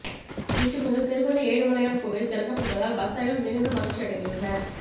இன்று முதல் திருப்பதி ஏழுமலையான் கோவில் திறக்கப்படுவதால் பக்தர்கள் மிகுந்த மகிழ்ச்சி அடைந்துள்ளனர்